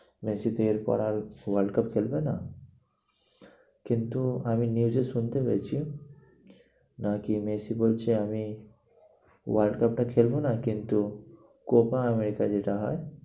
Messi তো এর পর আর world cup খেলবে না। কিন্তু আমি news এ শুনতে পেয়েছি। না কি মেসি বলছে আমি world cup টা খেলবো না কিন্তু copa america যেটা হয়